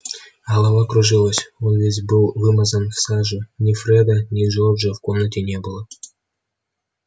голова кружилась он весь был вымазан в саже ни фреда ни джорджа в комнате не было